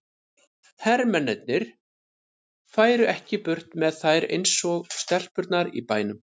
Hermennirnir færu ekki burt með þær eins og stelpurnar í bænum.